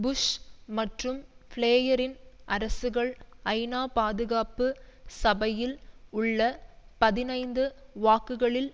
push மற்றும் பிளேயரின் அரசுகள் ஐநாபாதுகாப்பு சபையில் உள்ள பதினைந்து வாக்குகளில்